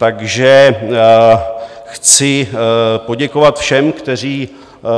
Takže chci poděkovat všem, kteří